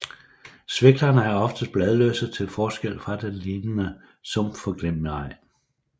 Sviklerne er oftest bladløse til forskel fra den lignende sumpforglemmigej